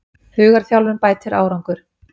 Hugarþjálfun bætir árangur